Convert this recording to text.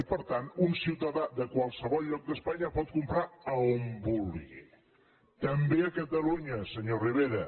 i per tant un ciutadà de qualsevol lloc d’espanya pot comprar a on vulgui també a catalunya senyor rivera